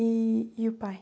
E e o pai?